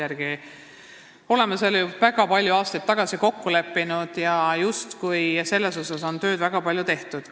Me oleme selle seaduste järgi juba väga palju aastaid tagasi kokku leppinud, siin on tööd justkui väga palju tehtud.